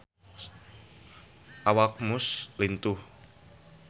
Awak Muse lintuh